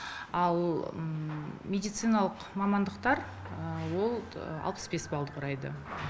ал медициналық мамандықтар ол алпыс бес балды құрайды